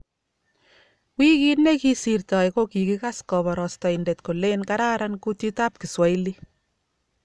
Wikit ne kisirtoi, ko kikikas koborostoindet kolen kararan kutitab kiswahili